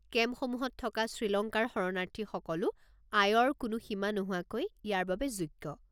কেম্পসমূহত থকা শ্ৰীলংকাৰ শৰণাৰ্থীসকলো আয়ৰ কোনো সীমা নোহোৱাকৈ ইয়াৰ বাবে যোগ্য।